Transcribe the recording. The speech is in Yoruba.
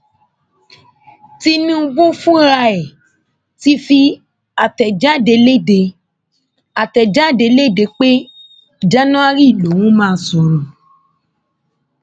tinúbú fúnra ẹ ti fi àtẹjáde lédè àtẹjáde lédè pé january lòún máa sọrọ